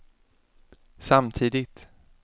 samtidigt